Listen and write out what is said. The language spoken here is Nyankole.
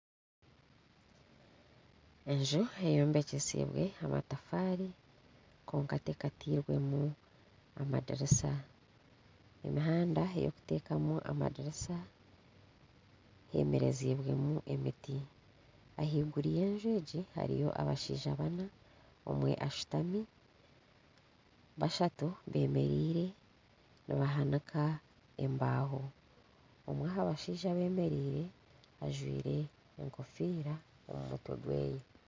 Enju eyombekyise amatafaari kwonka tekateirwemu amadirisa emihanda eyokuteekamu amadirisa eyemereziibwemu emiti ahaiguru y'enju egi harimu abashaija baana omwe ashutami, bashatu beemereire nibahanika embaho omwe aha bashaija abemereire ajwaire enkofiira omu mutwe gwe.